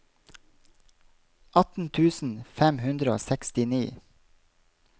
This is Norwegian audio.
atten tusen fem hundre og sekstini